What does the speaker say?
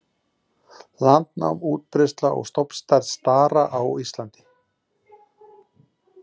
Landnám, útbreiðsla og stofnstærð stara á Íslandi